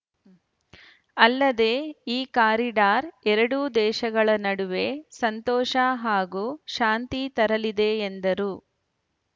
ಅಲ್ಲದೆ ಈ ಕಾರಿಡಾರ್‌ ಎರಡೂ ದೇಶಗಳ ನಡುವೆ ಸಂತೋಷ ಹಾಗೂ ಶಾಂತಿ ತರಲಿದೆ ಎಂದರು